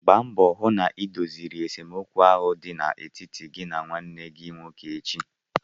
Gba mbọ hụ na idoziri esemokwu ahụ dị n'etiti gị na nwanne gị nwoke echi!